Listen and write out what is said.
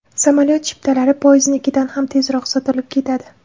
Samolyot chiptalari poyezdnikidan ham tezroq sotilib ketadi.